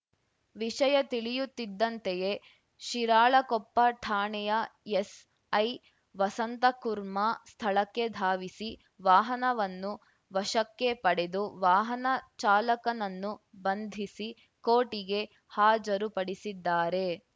ವಿಷಯ ತಿಳಿಯುತ್ತಿದ್ದಂತೆಯೇ ಶಿರಾಳಕೊಪ್ಪ ಠಾಣೆಯ ಎಸ್‌ಐ ವಸಂತಕುರ್ಮಾ ಸ್ಥಳಕ್ಕೆ ಧಾವಿಸಿ ವಾಹನವನ್ನು ವಶಕ್ಕೆ ಪಡೆದು ವಾಹನ ಚಾಲಕನನ್ನು ಬಂಧಿಸಿ ಕೋರ್ಟಿಗೆ ಹಾಜರು ಪಡಿಸಿದ್ದಾರೆ